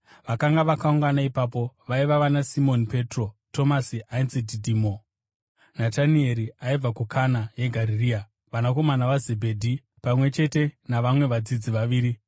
Vakanga vakaungana ipapo vaiva vanaSimoni Petro, Tomasi (ainzi Dhidhimo), Natanieri aibva kuKana yeGarirea, vanakomana vaZebhedhi, pamwe chete navamwe vadzidzi vaviri.